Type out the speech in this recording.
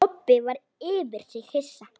Kobbi var yfir sig hissa.